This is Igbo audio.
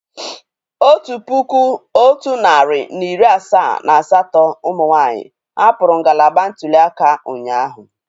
Otu puku otu narị na iri asaa na asatọ umunwaanyi hapụrụ ngalaba ntuli aka ụnyahụ